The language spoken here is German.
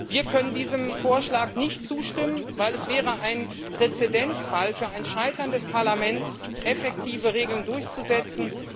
Wir können diesem Vorschlag nicht zustimmen, weil es ein Präzedenzfall wäre für ein Scheitern des Parlaments, effektive Regeln durchzusetzen.